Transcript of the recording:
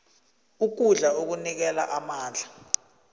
ukudla okunikela amandla